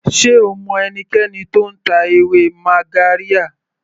Sé o mọ ẹnikẹni tó ń ta ewé magarya.